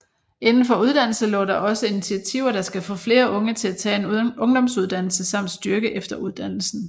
Indenfor uddannelse lå der også intiativer der skal få flere unge til at tage en ungdomsuddannelse samt styrke efteruddannelsen